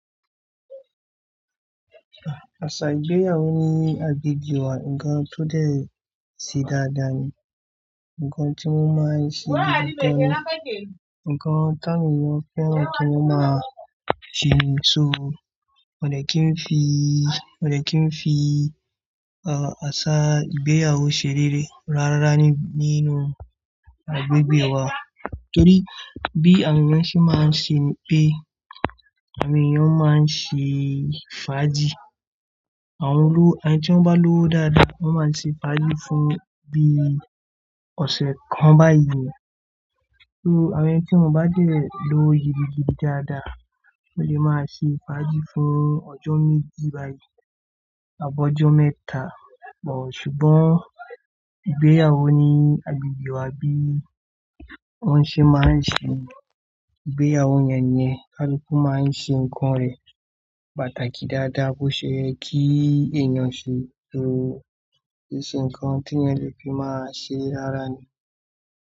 Àṣà ìgbéyàwó ní agbègbè wa, ǹkan tó dẹ̀ ṣe dáadáa ni, ǹkan tí wọ́n máa ń ṣe nígbà kan, ǹkan ti awọn eyan féràn kí wọ́n máa ṣe. So, mọ̀dẹ kí n fi, mọ̀dẹ kí n fi, àṣà ìgbéyàwó se réré rárá nínú agbègbè wa. Nítorí bí àwọn èèyàn ṣe máa ń ṣe ni pé àwọn èèyàn máa ń ṣe fàájì. Àwọnolówo, àwọn tí wọ́n bá lọ́wo dáadáa, wọ́n máa ṣe fàájì fún bí ọ̀sẹ̀ kan báyìí. So, àwọn ẹni tí wọ́n bá dé lọwo gidigidi dáadáa, wọ́n lè máa ṣe fàájì fún ọjọ́ méjì báyìí àbọ́ ọjọ́ mẹ́ta. Bọ̀ ṣùgbọ́n ìgbéyàwó ní agbègbè wa bí wọ́n ṣe máa ń ṣe ni ìgbéyàwó yẹn nìyẹn, kaluku máa ń ṣe ǹkan rẹ̀ pàtàkì dáadáa bó ṣe ye kí èèyàn ṣe. So, kiṣe ǹkan tí ẹyan lè fi máa ṣe rárá ni.